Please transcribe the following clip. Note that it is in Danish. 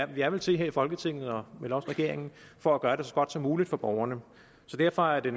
vi er vel til her i folketinget og vel også regeringen for at gøre det så godt som muligt for borgerne derfor er det